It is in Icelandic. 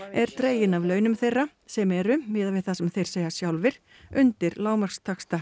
er dregin af launum þeirra sem eru miðað við það sem þeir segja sjálfir undir lágmarkstaxta